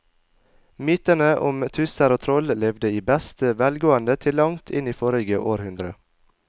Mytene om tusser og troll levde i beste velgående til langt inn i forrige århundre.